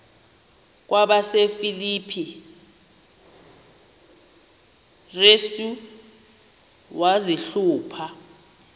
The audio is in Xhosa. kwabasefilipi restu wazihluba